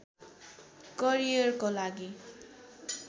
करियरको लागि